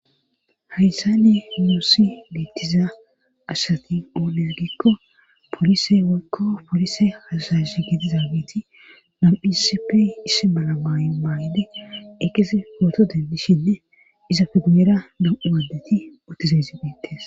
hayssani nuussi beettiza asati oone gikko polise woykko polise hasaish gidi zaabeti nam7hisipey isse malamay maayde eqesi pooto dendishinne iza fidimera dam7u adeti otizayzi beettes